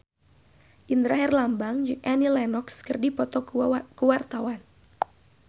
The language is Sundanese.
Indra Herlambang jeung Annie Lenox keur dipoto ku wartawan